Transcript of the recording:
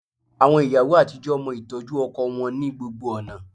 Àwọn ìyàwó àtijọ́ mọ ìtọ́jú ọkọ wọn ní gbogbo ọ̀nà